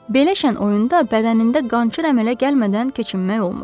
Belə şən oyunda bədənində qançır əmələ gəlmədən keçinmək olmurdu.